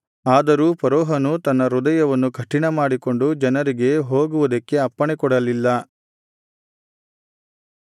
ಆದರೂ ಫರೋಹನು ತನ್ನ ಹೃದಯವನ್ನು ಕಠಿಣಮಾಡಿಕೊಂಡು ಜನರಿಗೆ ಹೋಗುವುದಕ್ಕೆ ಅಪ್ಪಣೆ ಕೊಡಲಿಲ್ಲ